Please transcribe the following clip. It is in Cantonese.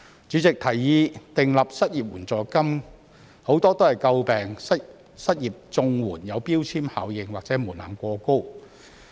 主席，提議訂立失業援助金者，很多也詬病失業綜援有標籤效應或門檻過高。